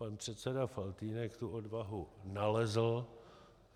Pan předseda Faltýnek tu odvahu nalezl.